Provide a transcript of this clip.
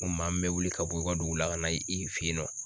N ko maa min bɛ wuli ka bɔ i ka dugu la ka na i fɛ yen nɔ